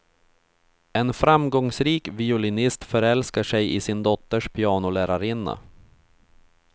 En framgångsrik violinist förälskar sig i sin dotters pianolärarinna.